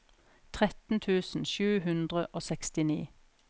tretten tusen sju hundre og sekstini